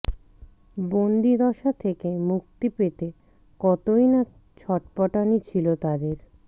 বন্দিদশা থেকে মুক্তি পেতে কতই না ছটফটানি ছিল তাদের